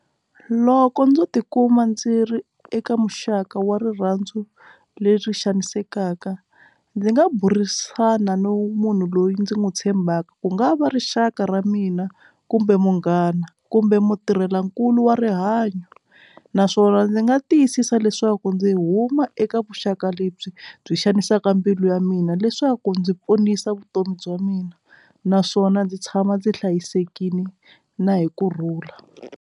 Loko ndzo tikuma ndzi ri eka muxaka wa rirhandzu le swi xanisekaka ndzi nga burisana no munhu loyi ndzi n'wi tshembaka ku nga va rixaka ra mina kumbe munghana kumbe mutirhela nkulu wa rihanyo naswona ndzi nga tiyisisa leswaku ndzi huma eka vuxaka lebyi byi xanisaka mbilu ya mina leswaku ndzi ponisa vutomi bya mina naswona ndzi tshama ndzi hlayisekile na hi kurhula.